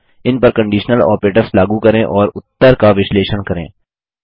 इन पर conditional operators लागू करें और उत्तर का विश्लेषण करें